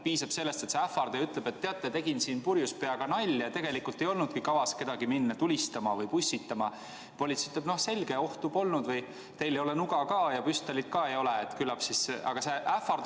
Piisab sellest, kui ähvardaja ütleb, et teate, tegin siin purjus peaga nalja, tegelikult mul ei olnudki kavas minna kedagi tulistama või pussitama, ning politsei vastab, et selge, ohtu polnud, teil ei ole nuga ja ka püstolit mitte, nii et küllap.